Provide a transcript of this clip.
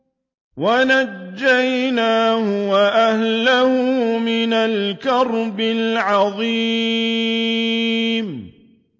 وَنَجَّيْنَاهُ وَأَهْلَهُ مِنَ الْكَرْبِ الْعَظِيمِ